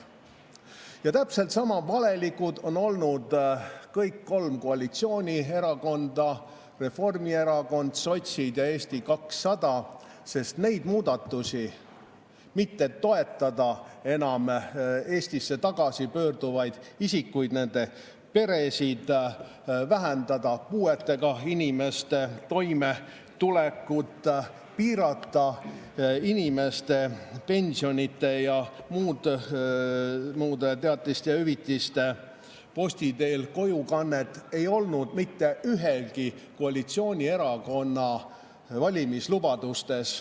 Ja täpselt sama valelikud on olnud kõik kolm koalitsioonierakonda: Reformierakond, sotsid ja Eesti 200, sest neid muudatusi, mitte toetada enam Eestisse tagasi pöörduvaid isikuid, nende peresid, vähendada puuetega inimeste toimetulekut, piirata inimeste pensionide ja muude teatiste ja hüvitiste posti teel kojukannet ei olnud mitte ühegi koalitsioonierakonna valimislubadustes.